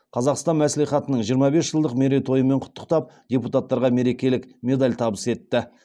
қазақстан мәслихатының жиырма бес жылдық мерейтойымен құттықтап депутаттарға мерекелік медаль табыс етті